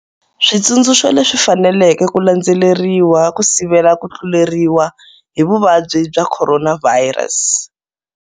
Switsundzuxo leswi faneleke ku landzeleriwa ku sivela ku tluleriwa hi vuvabyi bya Khoronavhayirasi.